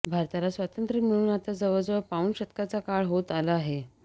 भारताला स्वातंत्र्य मिळून आता जवळजवळ पाऊण शतकाचा काळ होत आला आहे